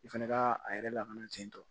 I fana ka a yɛrɛ lakana ten tɔ